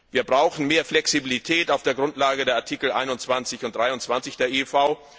Wir brauchen mehr Flexibilität auf der Grundlage der Nummern 21 und 23 der IIV.